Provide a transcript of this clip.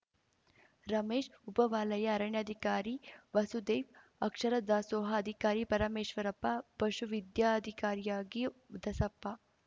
ರಮೇಶ್‌ ಉಪವಲಯ ಅರಣ್ಯಾಧಿಕಾರಿ ವಸುದೇವ್‌ ಅಕ್ಷರ ದಾಸೋಹ ಅಧಿಕಾರಿ ಪರಮೇಶ್ವರಪ್ಪ ಪಶು ವಿದ್ಯಾಧಿಕಾರಿಯಾಗಿಯೂ ದಸಪ್ಪ